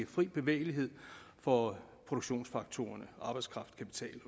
fri bevægelighed for produktionsfaktorerne arbejdskraft kapital og